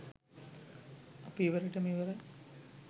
අපි ඉවරෙටම ඉවරයි.